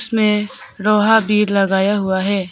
मैं लोहा भी लगाया हुआ है।